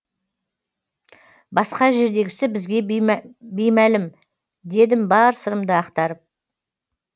басқа жердегісі бізге беймәлім дедім бар сырымды ақтарып